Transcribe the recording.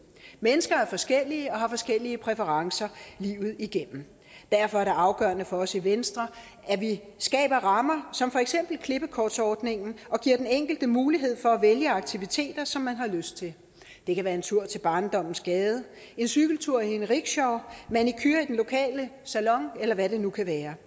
mennesker er forskellige og har forskellige præferencer livet igennem derfor er det afgørende for os i venstre at vi skaber rammer som for eksempel klippekortsordningen og giver den enkelte mulighed for at vælge aktiviteter som man har lyst til det kan være en tur til barndommens gade en cykeltur i en rickshaw manicure i den lokale salon eller hvad det nu kan være